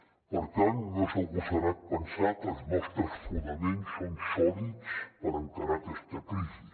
per tant no és agosarat pensar que els nostres fonaments són sòlids per encarar aquesta crisi